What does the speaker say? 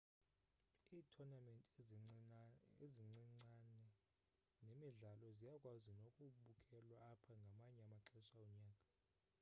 iithonamenti ezincincane nemidlalo ziyakwazi nokubukelwa apha ngamanye amaxesha onyaka